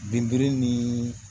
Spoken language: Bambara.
Binburu ni